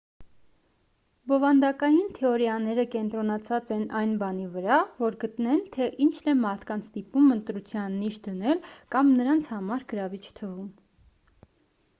բովանդակային թեորիաները կենտրոնացած են այն բանի վրա որ գտնեն թե ինչն է մարդկանց ստիպում ընտրության նիշ դնել կամ նրանց համար գրավիչ թվում